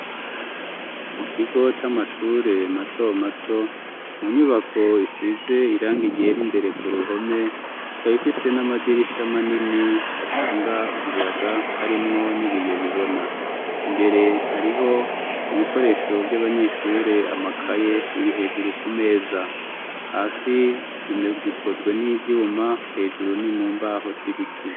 Mu kigo c'amashure mato mato mu nyubako ifize iranga igera imbere ku ruhome kab ifise n'amadirisha manini atanga umuyaga harimwo n'ibiyo bibona, imbere hariho ibikoresho vy'abanyeshure amakaye biri hejuru kumeza hasi zimwe zikozwe n'ivyuma hejuru ni mu mbaho z'ibiti.